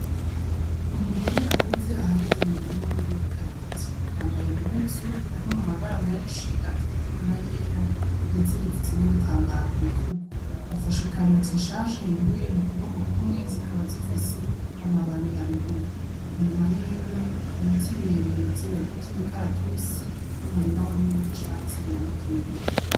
Umugore akuze ahagaze mu murima wiwe w'ikaroti, yambaye impuzu harimwo amabara menshi atukura n'ayera, ndetse yifutse n'igitambara ku bitugu, afashe ikaroti nshasha yimbuye mu kuboko kumwe zikaba zifise amababi haruguru, inyuma yiwe ibiti birebire vy'imikaratusi n'umurima munini w'icatsi biramukingiye.